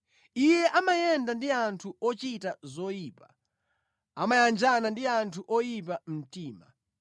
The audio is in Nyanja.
Iye amayenda ndi anthu ochita zoyipa; amayanjana ndi anthu oyipa mtima.